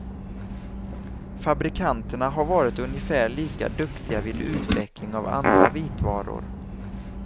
Fabrikanterna har varit ungefär lika duktiga vid utveckling av andra vitvaror.